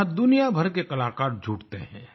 जहाँ दुनिया भर के कलाकार जुटते है